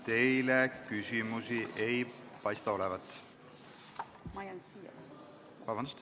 Teile küsimusi ei paista olevat.